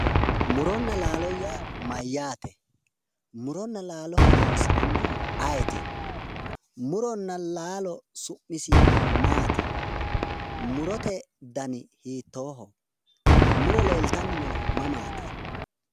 Mu'ronna laalo yaa mayyaate mu'ronna laalo horoonsirannohu ayeeti mu'ronna laalo su'misi maati mu'rote dani hiittooho mu'ro leeltanni noohu mamaati